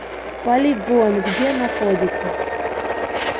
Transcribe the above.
полигон где находится